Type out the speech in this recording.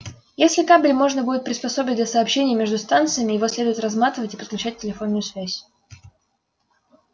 если кабель можно будет приспособить для сообщения между станциями его следует разматывать и подключать телефонную связь